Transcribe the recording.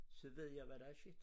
Så ved jeg hvad der er sket